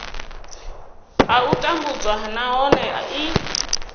a u tambudzwa nahone i